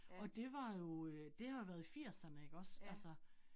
Og det var jo øh, det har været i firserne ikke også altså